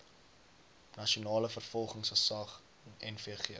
nasionale vervolgingsgesag nvg